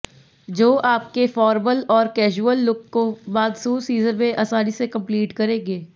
जो आपके फार्मल और कैजुअल लुक को मानसून सीजन में आसानी से कंप्लीट करेगें